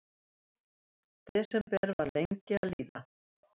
Desember var lengi að líða.